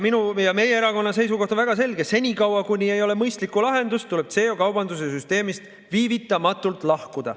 Minu ja meie erakonna seisukoht on väga selge: senikaua kuni ei ole mõistlikku lahendust, tuleb CO2 kaubanduse süsteemist viivitamatult lahkuda.